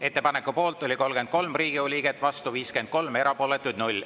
Ettepaneku poolt oli 33 Riigikogu liiget, vastu 53, erapooletuid 0.